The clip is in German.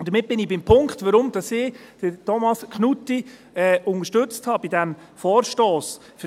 Damit bin ich beim Punkt, weshalb ich Thomas Knutti bei diesem Vorstoss unterstützt habe.